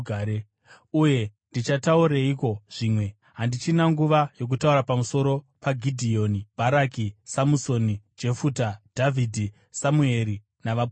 Uye ndichataureiko zvimwe? Handichina nguva yokutaura pamusoro paGidheoni, Bharaki, Samusoni, Jefuta, Dhavhidhi, Samueri, navaprofita,